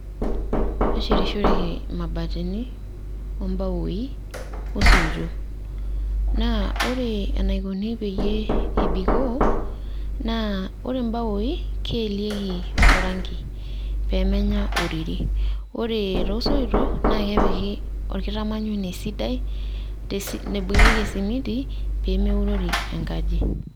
Eshetishoreki imabatini,o mbaoi, osoitok. Naa, ore enaikoni peyie ebikoo, na ore mbaoi, keelieki oranki pemenya oririi. Ore tosoitok, na kepiki orkitamanyune sidai, naibung'ieki esimiti, pemeurori enkaji.